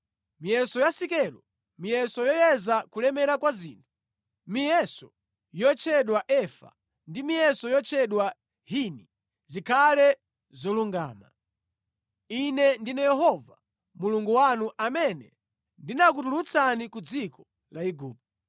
Miyeso ya sikelo, miyeso yoyezera kulemera kwa zinthu, miyeso yotchedwa efa ndi miyeso yotchedwa hini zikhale zolungama. Ine ndine Yehova, Mulungu wanu amene ndinakutulutsani ku dziko la Igupto.